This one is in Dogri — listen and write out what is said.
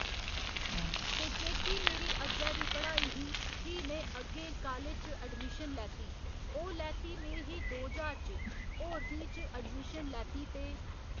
ते जेह्की मेरी अग्गै दी पढ़ाई ही फ्ही में अग्गैं कालेज च अडमिशन लैती ओह् लैती में ही दो ज्हार च होर बी च अडमिशन लैती ते